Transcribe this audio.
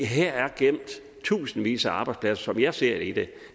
her er der gemt tusindvis af arbejdspladser som jeg ser det det